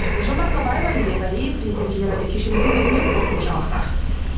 гүлжан марқабаева алибек алиев президент теле радио кешені көмегімен қорытынды жаңалықтар